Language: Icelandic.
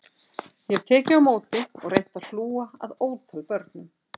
Ég hef tekið á móti og reynt að hlúa að ótal börnum